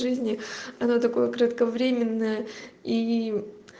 жизни она такое кратковременная и